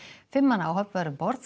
fimm manna áhöfn var um borð